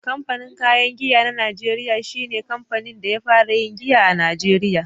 Kamfanin kayan giya na najeriya shi ne kamfanin da ya fara yin giya a Najeriya.